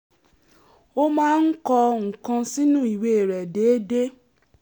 ó máa ń kọ nǹkan sínú ìwé rẹ̀ déédéé